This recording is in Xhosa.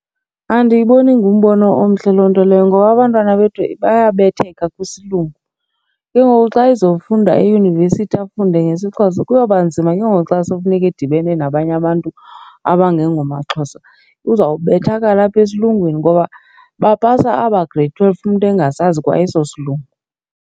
Andiyiboni ingumbono omhle loo nto leyo ngoba abantwana bethu bayabetheka kwisilungu. Ke ngoku xa ezofunda eyunivesithi afunde ngesiXhosa kuyoba nzima ke ngoku xa sekufuneka edibene nabanye abantu abangengomaXhosa. Uzawubethakala apha esilungwini ngoba bapasa aba Grade twelve umntu engasazi kwa eso silungu.